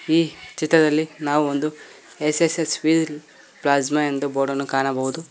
ಈ ಚಿತ್ರದಲ್ಲಿ ನಾವು ಒಂದು ಎಸ್_ಎಸ್_ಎಸ್ ವೀಲ್ ಪ್ಲಾಸ್ಮ ಎಂದು ಬೋರ್ಡನ್ನು ಕಾಣಬಹುದು.